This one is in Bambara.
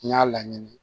N y'a laɲini